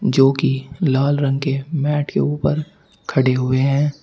जो कि लाल रंग के मैट के ऊपर खड़े हुए हैं।